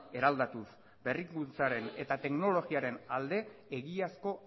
eraldatuz berrikuntzaren eta teknologiaren alde egiazko